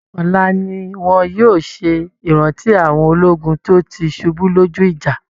Ọla ni wọn yóò ṣe ìrántí àwọn ológun tó ti ṣubú lójú ìjà